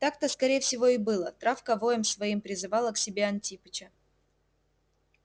так-то скорее всего и было травка воем своим призывала к себе антипыча